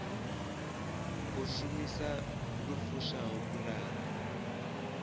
u shumisa lu fushaho pulane